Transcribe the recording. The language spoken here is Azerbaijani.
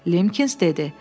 Limkins dedi.